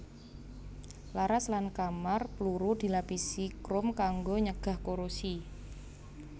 Laras lan kamar pluru dilapisi krom kanggo nyegah korosi